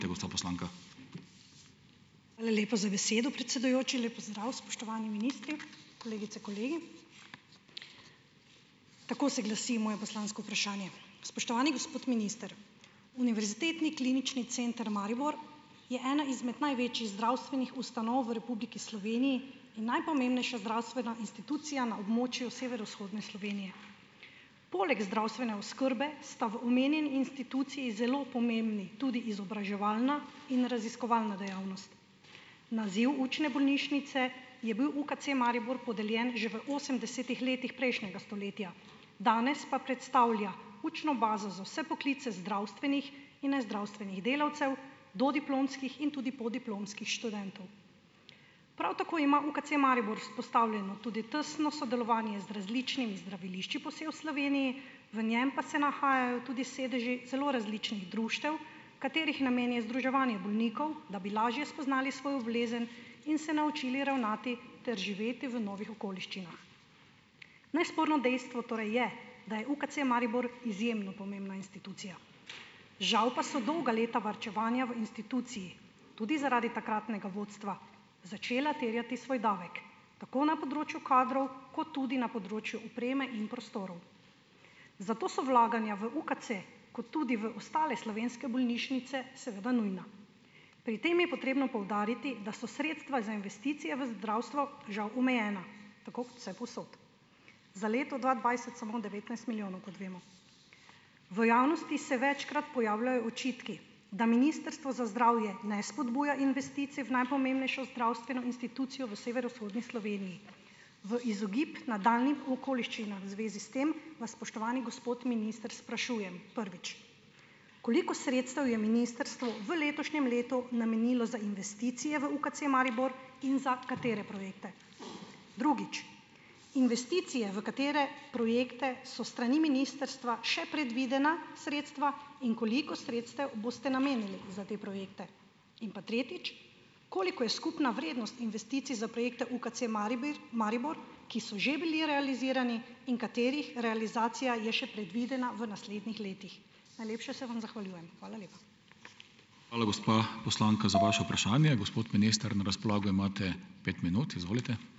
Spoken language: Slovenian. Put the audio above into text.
Hvala lepa za besedo, predsedujoči. Lep pozdrav, spoštovani ministri, kolegice, kolegi. Tako se glasi moje poslansko vprašanje: spoštovani gospod minister, Univerzitetni klinični center Maribor je ena izmed največjih zdravstvenih ustanov v Republiki Sloveniji in najpomembnejša zdravstvena institucija na območju severovzhodne Slovenije. Poleg zdravstvene oskrbe sta v omenjeni instituciji zelo pomembni tudi izobraževalna in raziskovalna dejavnost. Naziv učne bolnišnice je bil UKC Maribor podeljen že v osemdesetih letih prejšnjega stoletja, danes pa predstavlja učno bazo za vse poklice zdravstvenih in nezdravstvenih delavcev, dodiplomskih in tudi podiplomskih študentov. Prav tako ima UKC Maribor vzpostavljeno tudi tesno sodelovanje z različnimi zdravilišči po vsaj v Sloveniji, v njem pa se nahajajo tudi sedeži zelo različnih društev, katerih namen je združevanje bolnikov, da bi lažje spoznali svojo bolezen in se naučili ravnati ter živeti v novih okoliščinah. Nesporno dejstvo torej je, da je UKC Maribor izjemno pomembna institucija, žal pa so dolga leta varčevanja v instituciji, tudi zaradi takratnega vodstva, začela terjati svoj davek, tako na področju kadrov kot tudi na področju opreme in prostorov. Zato so vlaganja v UKC, kot tudi v ostale slovenske bolnišnice, seveda nujna. Pri tem je potrebno poudariti, da so sredstva za investicije v zdravstvo žal omejena, tako kot vsepovsod. Za leto dva dvajset samo devetnajst milijonov, kot vemo. V javnosti se večkrat pojavljajo očitki, da Ministrstvo za zdravje ne spodbuja investicij v najpomembnejšo zdravstveno institucijo v severovzhodni Sloveniji. V izogib nadaljnjim okoliščinam v zvezi s tem vas, spoštovani gospod minister, sprašujem, prvič; koliko sredstev je ministrstvo v letošnjem letu namenilo za investicije v UKC Maribor in za katere projekte? Drugič; investicije, v katere projekte so s strani ministrstva še predvidena sredstva, in koliko sredstev boste namenili za te projekte? In pa tretjič; koliko je skupna vrednost investicij za projekte UKC Maribir Maribor, ki so že bili realizirani in katerih realizacija je še predvidena v naslednjih letih? Najlepše se vam zahvaljujem, hvala lepa.